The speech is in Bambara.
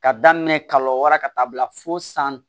Ka daminɛ kalo wɔɔrɔ ka taa bila fo san